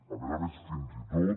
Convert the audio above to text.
a més a més fins i tot